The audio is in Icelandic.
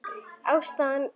Ástæðan ekki flókin.